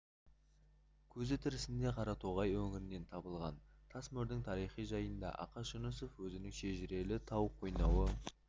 көзі тірісінде қаратоғай өңірінен табылған тас мөрдің тарихы жайында ақаш жүнісов өзінің шежірелі тау қойнауы